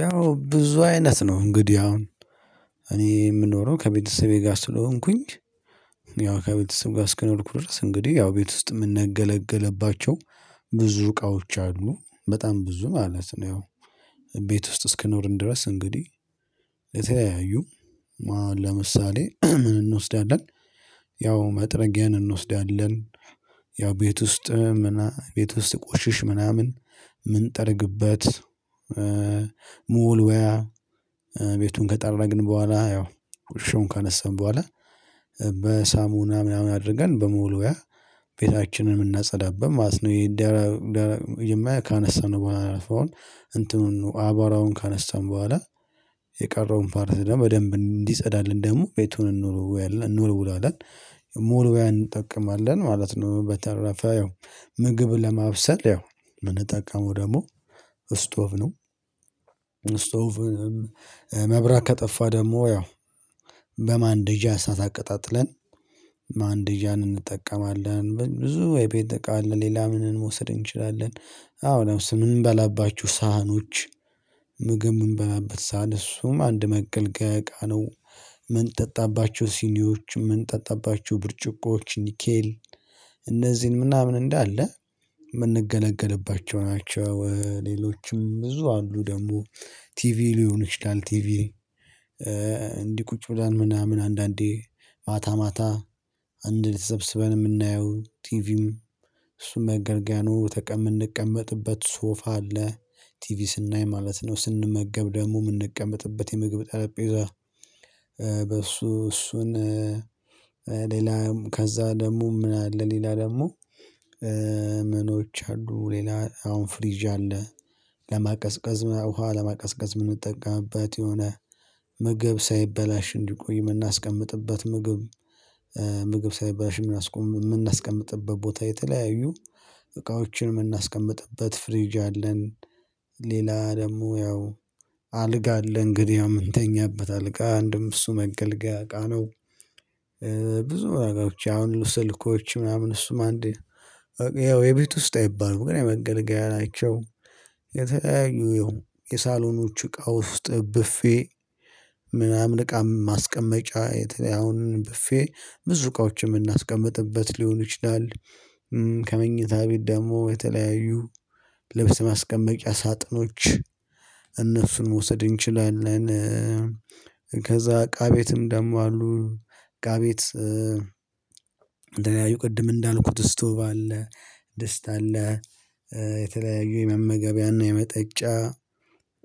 ያው ብዙ አይነት ነው እንግዲህ አሁን እኔ የምኖረው ከቤተሰቤ ጋር ስለሆንኩኝ። ያው ከቤተሰብ ጋር እስከኖርኩ ድረስ እንግዲህ ያው ቤት ውስጥ የምንገለገልባቸው ብዙ እቃዎች አሉ በጣም ብዙ ማለት ነው። ያው ቤት ውስጥ እስከኖርን ድረስ እንግዲህ የተለያዩ ማን ለምሳሌ ምን እንወስዳለን? ያው መጥረጊያን እንወስዳለን ያው ቤት ውስጥ ምና ቤት ውስጥ ሲቆሽሽ ምናምን ምንጠርግበት። መወልወያ ቤቱን ከጠረግን በኋላ ያው ቆሻሻውን ካነሳን በኋላ በሳሙና ምናምን አድርገን በመወልወያ ቤታችንን የምናጸዳበት ማለት ነው። ይሄ የደረ መጀመሪያ ካነሳነው በኋላ አረፋውን እንትኑን አቧራውን ካነሳን በኋላ የቀረውን ፓርት ደግሞ በደንብ እንዲጸዳልን ደግሞ ቤቱን እንወል እንወለውለዋለን መወልወያ እንጠቀማለን ማለት ነው። በተረፈ ያው ምግብ ለማብሰል ያው የምንጠቀመው ደግሞ እስቶቭ ነው። እስቶቭም መብራት ከጠፋ ደግሞ ያው በማንደጃ እሳት አቀጣጥለን ማንደጃን እንጠቀማለን ብዙ የቤት እቃ አለ። ሌላ ምንን መውሰድ እንችላለን? አዎ ለምሳሌ የምንበላባቸው ሳህኖች ምግብ ምንበላበት ሳህን እሱም አንድ መገልገያ እቃ ነው። የምንጠጣባቸው ሲኒዎች የምንጠጣባቸው ብርጭቆዋች ኒኬል እነዚህን ምናምን እንዳለ የምንገለገልባቸው ናቸው። ሌሎችም ብዙ አሉ ደግሞ ቲቪ ሊሆን ይችላል። ቲቪ እንዲህ ቁጭ ብለን ምናምን አንዳንዴ ማታ ማታ አንድላይ ተሰብስበን የምናየው ቲቪም እሱም መገልገያ ነው። ተቀም የምንቀመጥበት ሶፋ አለ። ቲቪ ስናይ ማለት ነው ስንመገብ ደግሞ የምንቀመጥበት የምግብ ጠረጴዛ በሱ እሱን ሌላም ከዛ ደግሞ ምን አለ ሌላ ደግሞ ምኖች አሉ ሌላ አሁን ፍሪጅ አለ። ለማቀዝቀዝ ውሃ ለማቀዝቀዝ የምንጠቀምበት የሆነ ምግብ ሳይበላሽ እንዲቆይ የምናስቀምጥበት ምግብ ምግብ ሳይበላሽ የምናስቀምጥበት ቦታ የተለያዩ እቃዎችን የምናስቀምጥበት ፍሪጅ አለን። ሌላ ደግሞ ያው አልጋ አለን እንግዲህ ያው የምንተኛበት አልጋ አንድም እሱ መገልገያ እቃ ነው። ብዙ ነገሮች ያሁሉ ስልኮች ምናምን እሱም አንድ ያው የቤት ውስጥ አይባልም ግን መገልገያ ናቸው። የተለያዩ ያው የሳሎኖቹ እቃ ውስጥ ብፌ ምናምን እቃ ማስቀመጫ የተለያዩን አሁን ብፌ ብዙ እቃዎችን የምናስቀምጥበት ሊሆን ይችላል። ከመኝታ ቤት ደግሞ የተለያዩ ልብስ ማስቀመጫ ሳጥኖች እነሱን መውሰድ እንችላለን። ከዛ እቃ ቤትም ደግሞ አሉ እቃ ቤት የተለያዩ ቅድም እንዳልኩት ስቶቭ አለ ድስት አለ። የተለያዩ የመመገቢያና የመጠጫ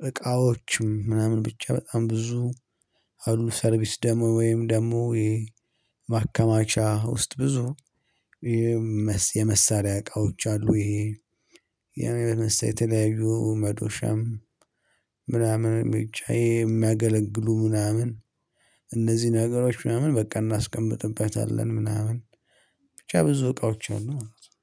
እቃዎችም ምናምን ብቻ በጣም ብዙ አሉ ሰርቪስ ደግሞ ወይም ደግሞ ይሄ ውስጥ ብዙ የመሳሪያ እቃዎች አሉ። ይሄ የመሳሪያ የተለያዩ መዶሻም ምናምን ብቻ የሚያገለግሉ ምናምን እነዚህ ነገሮች ምናምን በቃ እናስቀምጥበታለን ምናምን ብቻ ብዙ እቃዎች አሉ ማለት ነው።